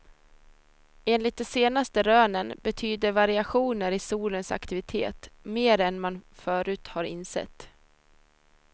Enligt de senaste rönen betyder variationer i solens aktivitet mer än man förut har insett.